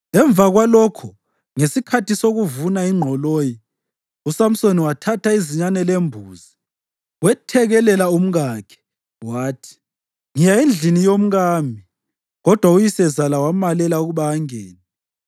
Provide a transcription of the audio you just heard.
Emva kwalokho, ngesikhathi sokuvuna ingqoloyi, uSamsoni wathatha izinyane lembuzi wethekelela umkakhe. Wathi, “Ngiya endlini yomkami.” Kodwa uyisezala wamalela ukuba angene.